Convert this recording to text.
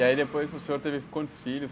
E aí depois o senhor teve quantos filhos?